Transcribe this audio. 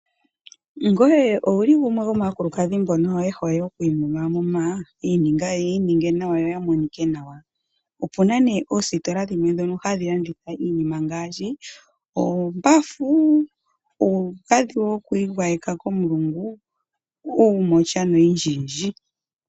Ngoye owu li gumwe gomaakulukadhi mbono ye hole okwiimumamuma ya ininge nawa yo ya monike nawa? Opu na oositola dhimwe ndhoka hadhi landitha iinima ngaashi oombafu, uugadhi wokwiigwayeka komulungu, uumotya noyindji yindji.